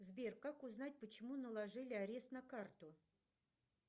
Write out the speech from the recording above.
сбер как узнать почему наложили арест на карту